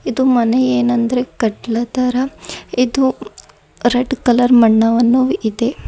ಇದು ಮನೆ ಏನಂದರೆ ಕತ್ಲತರ ಇದು ರೆಡ್ ಕಲರ್ ಮಣ್ಣವನ್ನು ಇದೆ.